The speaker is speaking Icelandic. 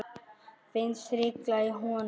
Finnst hringla í honum.